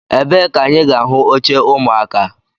Ebee ka anyị ga ahụ oche ụmụaka?